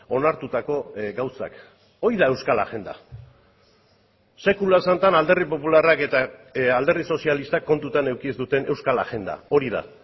onartutako gauzak hori da euskal agenda sekula santan alderdi popularrak eta alderdi sozialistak kontutan eduki ez duten euskal agenda hori da